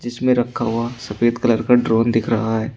इसमें रखा हुआ सफेद कलर का ड्रोन दिख रहा है।